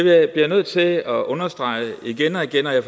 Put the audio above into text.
jeg bliver nødt til at understrege igen og igen at